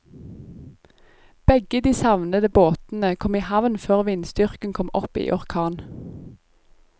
Begge de savnede båtene kom i havn før vindstyrken kom opp i orkan.